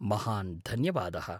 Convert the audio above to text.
महान् धन्यवादः।